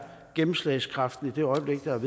gennemslagskraften i det øjeblik noget